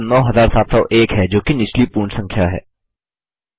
उत्तर अब 9701 है जोकि निचली पूर्ण संख्या है